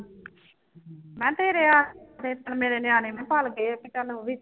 ਮੈਂ ਤੇਰੇ ਆਸਰੇ ਤਾਂ ਮੇਰੇ ਨਿਆਣੇ ਵੀ ਪਲ ਗਏ ਆ ਕਿ ਚੱਲ ਉਹ ਵੀ